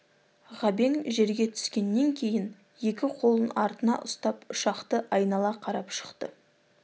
ғабең жерге түскеннен кейін екі қолын артына ұстап ұшақты айнала қарап шықты